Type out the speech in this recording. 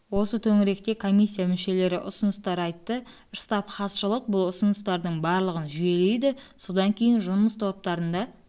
осы төңіректе комиссия мүшелері ұсыныстар айтты штаб хатшылық бұл ұсыныстардың барлығын жүйелейді содан кейін жұмыс топтарында